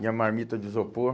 Minha marmita de isopor.